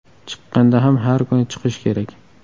Chiqqanda ham har kuni chiqish kerak.